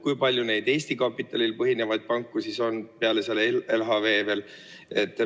Kui palju neid Eesti kapitalil põhinevaid panku on veel peale LHV?